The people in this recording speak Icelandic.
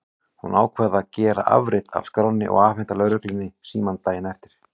Hún ákvað að gera afrit af skránni og afhenda lögreglunni símann daginn eftir.